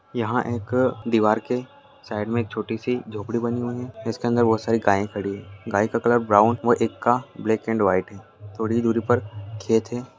यहां एक दीवार के साइड में एक छोटी सी झोंपड़ी बनी हुई है जिसके अंदर बहुत सारी गायें खड़ी हैं गाय का कलर ब्राउन व् एक का ब्लैक एंड व्हाइट है थोड़ी ही दुरी पर खेत है।